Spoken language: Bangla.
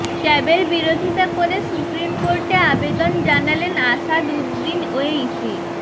ক্যাবের বিরোধিতা করে সুপ্রিম কোর্টে আবেদন জানালেন আসাদউদ্দিন ওয়েইসি